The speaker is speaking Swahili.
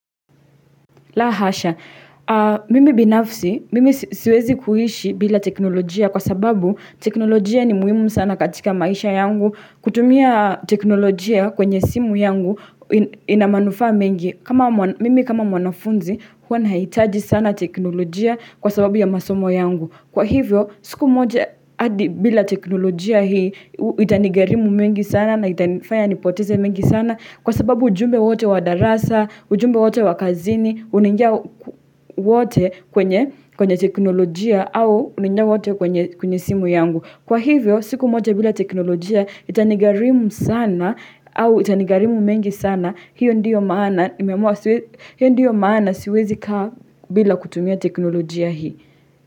Lahasha, mimi binafsi, mimi siwezi kuhishi bila teknolojia kwa sababu teknolojia ni muhimu sana katika maisha yangu, kutumia teknolojia kwenye simu yangu inamanufa mengi. Mimi kama mwanafunzi huwa naitaji sana teknolojia kwa sababu ya masomo yangu. Kwa hivyo siku moja adi bila teknolojia hii itanigarimu mingi sana na itafaya nipoteze mengi sana kwa sababu ujumbe wote wadarasa, ujumbe wote wakazini, unaingia wote kwenye teknolojia au unaingia wote kwenye kwenye simu yangu. Kwa hivyo, siku moja bila teknolojia itanigarimu sana au itanigarimu mengi sana, hiyo ndiyo maana siwezi kaa bila kutumia teknolojia hii.